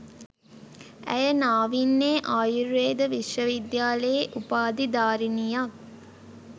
ඇය නාවින්නේ ආයුර්වේද විශ්ව විද්‍යාලයේ උපාධිධාරිණියක්